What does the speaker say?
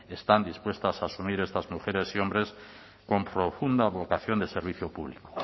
están dispuestas a asumir estas mujeres y hombres con profunda vocación de servicio público